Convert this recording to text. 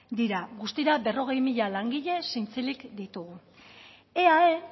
dira guztira berrogei mila langile zintzilik ditugu eae